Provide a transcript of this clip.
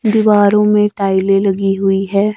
दीवारों में टाइलें लगी हुई हैं।